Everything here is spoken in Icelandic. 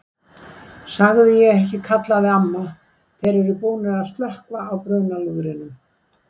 Sagði ég ekki kallaði amma, þeir eru búnir að slökkva á brunalúðrinum